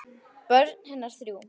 Börn hennar eru þrjú.